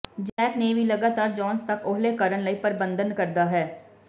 Jack ਨੇ ਵੀ ਲਗਾਤਾਰ ਜੋਨਸ ਤੱਕ ਓਹਲੇ ਕਰਨ ਲਈ ਪਰਬੰਧਨ ਕਰਦਾ ਹੈ